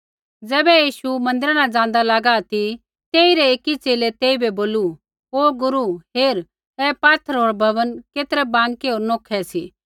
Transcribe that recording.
ज़ैबै यीशु मन्दिरा न ज़ाँदा लागा ती तेइरै एकी च़ेले तेइबै बोलू गुरू हेर ऐ पात्थर होर भवन केतरै बाँकै होर नोखै सी